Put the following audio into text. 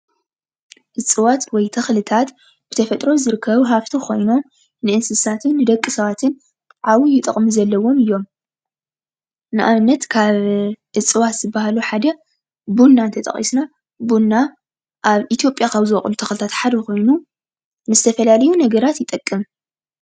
እፅዋት ወይ ተክለታት ብተፈጥሮ ዝርከብ ሃፍቲ ኮይኑ ንእስታትን ንደቂ ሰባትን ዓብይ ጥቅሚ ዘለዎም እዮም። ንኣብነት እፀዋት ዝብሃሉ ሓደ ቡና ተጠቂስና ቡና ኣብ ኢትዮጲያ ካብ ዙወቅሉ ተክልታት ሓደ ኮይኑ ንዝተፋላለዩ ነገራት ይጠቅም።